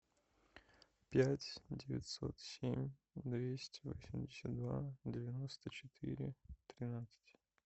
пять девятьсот семь двести восемьдесят два девяносто четыре тринадцать